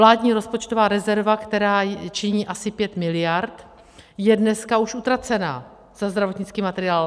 Vládní rozpočtová rezerva, která činí asi 5 mld., je dneska už utracena za zdravotnický materiál.